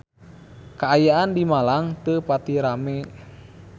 Kaayaan di Malang teu pati rame